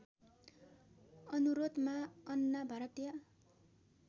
अनुरोधमा अन्ना भारतीय